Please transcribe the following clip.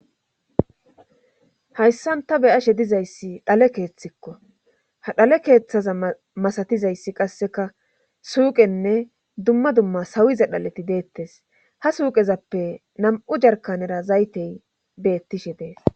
hayssan ta beyashe dizayssi dhale keeththikko ha dhale keeththaza masatizayssi qasseka suuqenne dumma dumma sawiza dhaleti deettes ha suuqezappe nam7u jarkanera zaytey beettishe dees